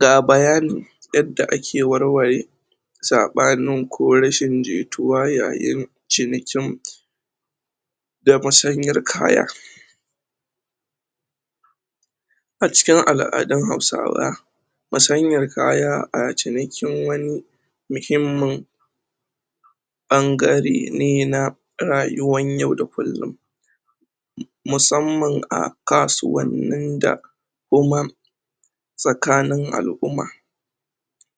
Ga bayani yadda ake warware tsabanin ko rashin jituwa yayin cinikin da masanyar kaya. A cikin aladun hausawa masanyar kaya a cinikin wani muhimman bangare ne na rayuwan yau da kullum musamman a kasuwanin da tsakanin alumma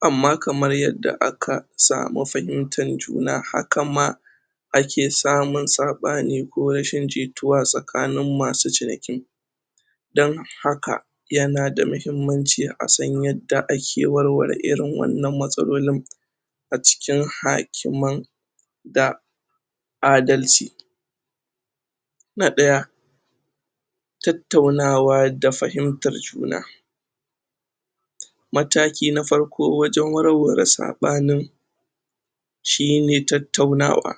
amma kamar yadda aka samu fahimtar juna, haka ma ake samun sabani ko rashin jituwa tsakanin masu ciniki don haka, yana da mahimmanci a san yarda ake warware irin wannan matsalolin acikin hakiman da adalci. Na daya Tattaunawa da fahimtar juna mataki na farko wajen warware saɓanin shi ne tautaunawa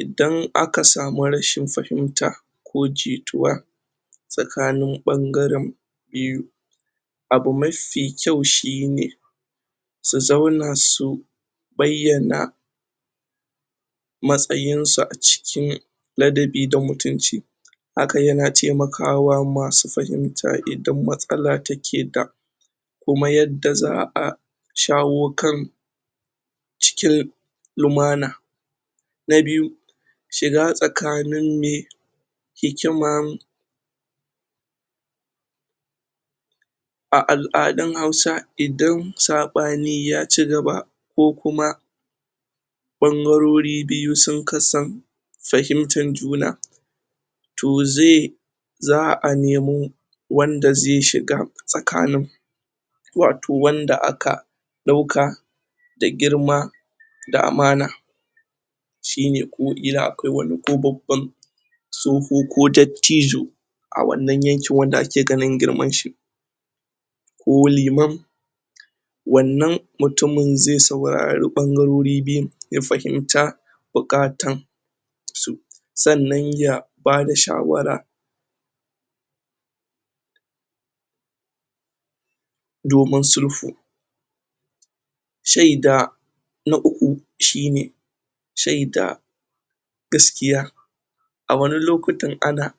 idan aka samu rashin fahimta ko jituwa sakanin bangarin biyu abu mafi kyau shi ne su zauna su bayana matsayin su acikin ladabi da mutunci. Hakan ya na taimakawa ma su fahimta idan matsala da ke da kuma yadda zaa shawo kan cikin lumana na biyu shiga tsakanin me hikiman a aladun hausa idan sabani ya cigaba ko kuma bangarori biyu sun kasan fahimtar juna toh ze zaa nemo wanda ze shiga tsakanin watoh wanda a ka dauka da girma da amana shi ne ko killa akwai wani ko babban soho ko dattijo a wannan yankin wanda a ke ganin girman shi. Ko liman wannan mutumin ze saurari bangoriri ya fahimta bukatan su. Sannan ya ba da shawara domin sulfu. Sheida na uku shi ne, sheida gaskiya a wani lokutan ana